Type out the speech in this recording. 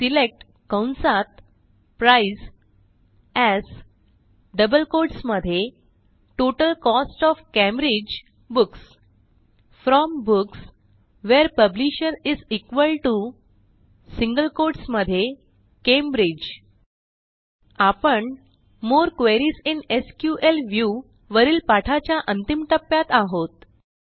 select कंसात sum AS double quotes मध्ये total cost O F Cambridge books from books where publisher single quotes मधे Cambridge आपण more queries in SQL view वरील पाठाच्या अंतिम टप्प्यात आहोत